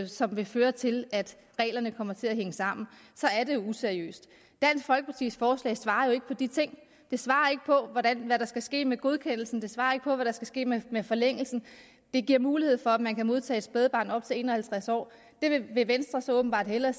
som vil føre til at reglerne kommer til at hænge sammen er det useriøst dansk folkepartis forslag svarer jo ikke på de ting det svarer ikke på hvad der skal ske med godkendelsen det svarer ikke på hvad der skal ske med med forlængelsen det giver mulighed for at man kan modtage et spædbarn op til en og halvtreds år det vil venstre så åbenbart hellere